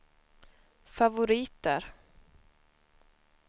favoriter